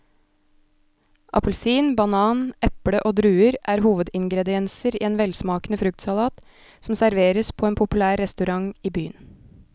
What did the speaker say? Appelsin, banan, eple og druer er hovedingredienser i en velsmakende fruktsalat som serveres på en populær restaurant i byen.